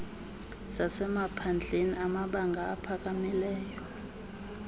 zasemaphandleni amabanga aphakamileyo